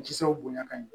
Kisɛw bonya ka ɲɛ